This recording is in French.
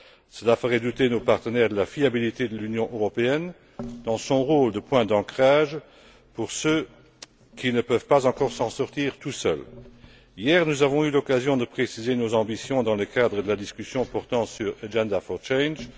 Cela ferait douter nos partenaires de la fiabilité de l'Union européenne dans son rôle de point d'ancrage pour ceux qui ne peuvent pas encore s'en sortir seuls. Hier, nous avons eu l'occasion de préciser nos ambitions dans le cadre de la discussion sur l'agenda pour le changement.